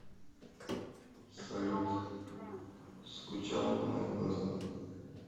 салют скучала по моим глазам